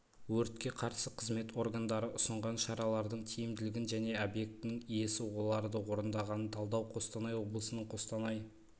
өртке қарсы қызмет органдары ұсынған шаралардың тиімділігін және объектінің иесі оларды орындағанын талдау қостанай облысының қостанай